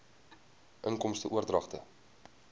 inkomste oordragte